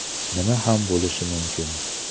Nima ham bo‘lishi mumkin?